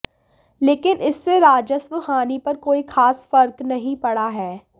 लेकिन इससे राजस्व हानि पर कोई खास फर्क नहीं पड़ा है